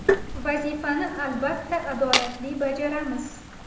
Vazifani albatta adolatli bajaramiz.